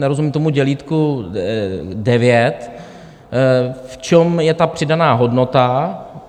Nerozumím tomu dělítku devět, v čem je ta přidaná hodnota.